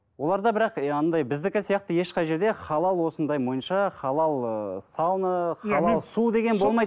оларда бірақ андай біздікі сияқты ешқай жерде халал осындай монша халал ы сауна халал су деген болмайды